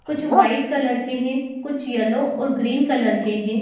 कुछ white colour के है कुछ येलो कलर और ग्रीन कलर के है।